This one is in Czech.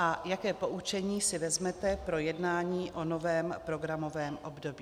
A jaké poučení si vezmete pro jednání o novém programovém období?